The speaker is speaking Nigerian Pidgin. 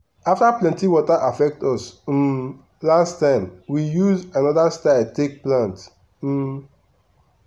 after plenty water affect us um last time we use another style take plant. um